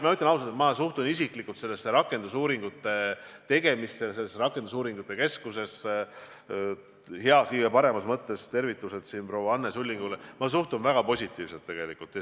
Ma ütlen ausalt, et mina suhtun rakendusuuringute keskuse tegemisse – ja siinkohal kõige paremas mõttes tervitused proua Anne Sullingule – väga positiivselt.